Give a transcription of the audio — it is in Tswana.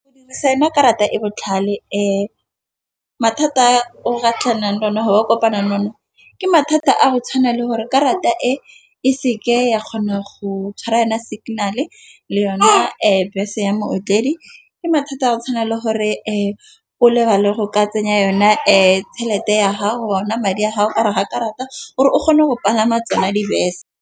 Go dirisa yona karata e botlhale mathata a o ka tlhakanang le ona kopanang le ona, ke mathata a go tshwana le gore karata e e se ke ya kgona go tshwara yona signal-e yona bese ya motledi. Ke mathata a tshwanela gore e o lebale go ka tsenya yona e tšhelete ya ga go ona madi ga karata gore o kgone go palama tsona dibese.